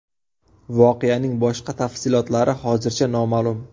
Voqeaning boshqa tafsilotlari hozircha noma’lum.